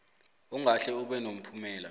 ongahle ube nomphumela